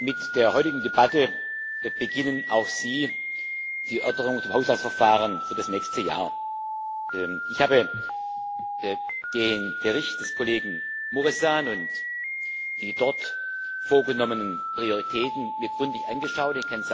Mit der heutigen Debatte beginnen auch Sie die Erörterungen über das Haushaltsverfahren für das nächste Jahr. Ich habe mir den Bericht des Kollegen Mureşan und die dort vorgenommenen Prioritäten gründlich angeschaut.